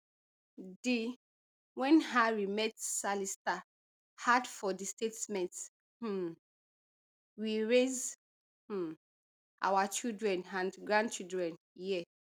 di when harry met sally star add for di statement um we raise um our children and grandchildren here